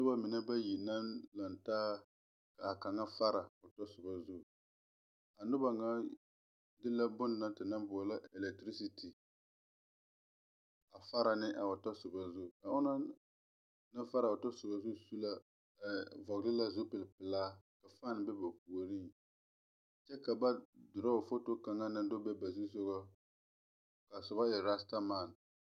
Nuba mene bayi la langtaa ka kanga fara ɔ tɔ suba zu a nuba nga de la bun na te nang boɔlo electricity a fara ne a ɔ tɔsoba na zu a ɔngna nang fara a ɔ tɔsoba na zu vɔgli la zupili pɛlaa ka fan be ba poɔring kye ka ba draw foto kang nang do be ba zusogɔ kaa suba e rastaman.